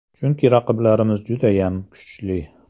Chunki raqiblarimiz judayam kuchli.